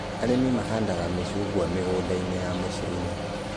Arĩmi mahandaga mĩcungwa mĩgũnda-inĩ ya mũcii-inĩ